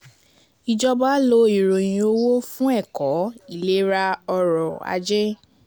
Ìjọba lo ìròyìn owó fún ẹ̀kọ́, ìlera, ọrọ̀-ajé.